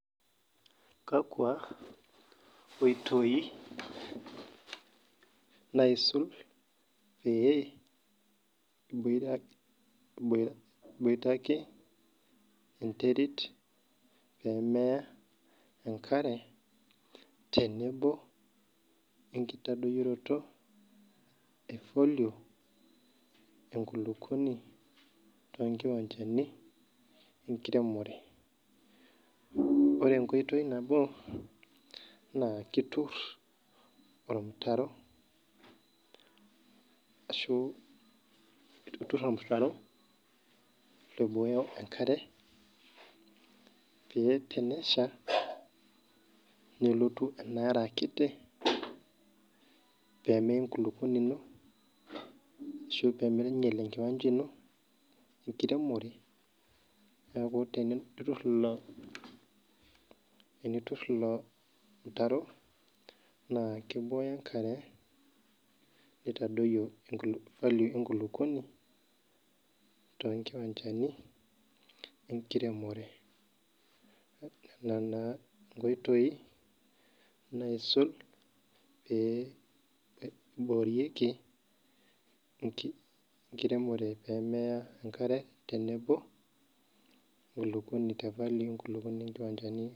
Kakwa oitoi naisul pee iboitake enterit pemeya enkare tenebo enkitodoyioroto efolium enkulukuoni tonkiwanjani enkiremore ore enkoitoi nabo naitur ormutaro oibooyo enkarebpa tenesha nelotu enaare akiti pemeya enkulukuoni ino ashu pmeinyal enkiwanja ino enkiremore neaku enitur ilo mutaro nakibooyo enkarebnitadoyio folum enkulukuoni tonkiwanjani enkiremore nona naa nkoitoi naisul peiboorieki enkiremore oemeya enkare tenebo ofakue onkiwanjani.